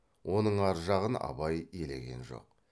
оның ар жағын абай елеген жоқ